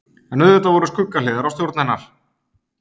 en auðvitað voru skuggahliðar á stjórn hennar